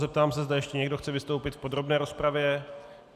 Zeptám se, zda ještě někdo chce vystoupit v podrobné rozpravě.